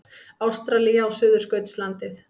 Ástralía og Suðurskautslandið.